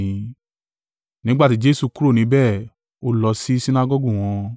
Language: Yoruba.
Nígbà tí Jesu kúrò níbẹ̀ ó lọ sí Sinagọgu wọn,